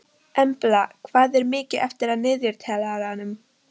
Embla, hvað er mikið eftir af niðurteljaranum?